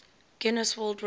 guinness world record